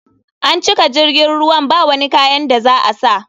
An cika jirgin ruwan bawani kayan da za a sa.